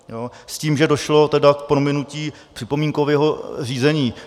S tím, že došlo tedy k prominutí připomínkového řízení.